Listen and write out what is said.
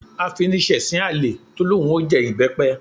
Afiniṣẹ̀sín àlè tó lóun ó jẹ ìbẹ́pẹ